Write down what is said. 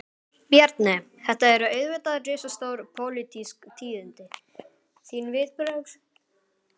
Bjarni, þetta eru auðvitað risastór, pólitísk tíðindi, þín viðbrögð?